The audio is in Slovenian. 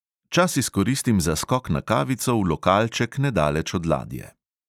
Čas izkoristim za skok na kavico v lokalček nedaleč od ladje.